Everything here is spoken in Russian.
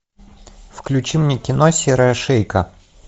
включи мне кино серая шейка